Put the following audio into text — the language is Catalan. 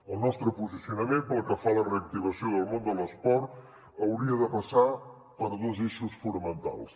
el nostre posicionament pel que fa a la reactivació del món de l’esport hauria de passar per dos eixos fonamentals